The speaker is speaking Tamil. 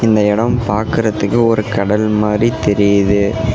இந்த எடம் பாக்குறதுக்கு ஒரு கடல் மாரி தெரியுது.